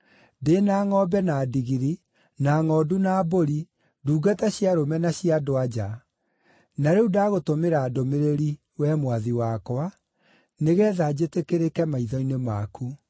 Ndĩ na ngʼombe na ndigiri, na ngʼondu na mbũri, ndungata cia arũme na cia andũ-a-nja. Na rĩu ndagũtũmĩra ndũmĩrĩri, we mwathi wakwa, nĩgeetha njĩtĩkĩrĩke maitho-inĩ maku.’ ”